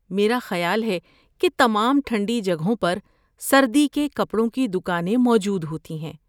میرا خیال ہے کہ تمام ٹھنڈی جگہوں پر سردی کے کپڑوں کی دکانیں موجود ہوتی ہیں۔